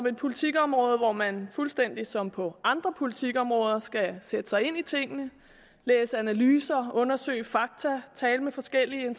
et politikområde hvor man fuldstændig som på andre politikområder skal sætte sig ind i tingene læse analyser undersøge fakta tale med forskellige